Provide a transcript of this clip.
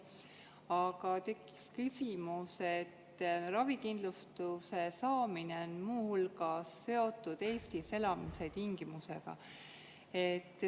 Aga tekkis küsimus, et ravikindlustuse saamine on muu hulgas seotud Eestis elamise tingimusega.